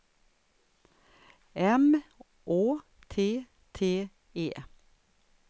M Å T T E